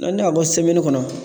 N'an y'a bɔ kɔnɔ